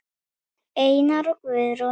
Einar og Guðrún.